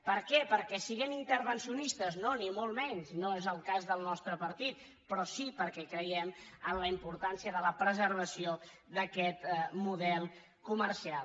per què perquè siguem intervencionistes no ni molt menys no és el cas del nostre partit però sí perquè creiem en la importància de la preservació d’aquest model comercial